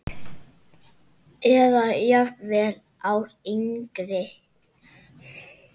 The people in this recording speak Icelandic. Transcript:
Eða jafnvel ári yngri.